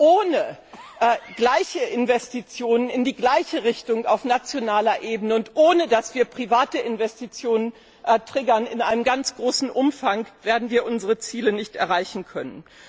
Aber ohne gleiche Investitionen in die gleiche Richtung auf nationaler Ebene und ohne dass wir private Investitionen in einem ganz großen Umfang triggern, werden wir unsere Ziele nicht erreichen können.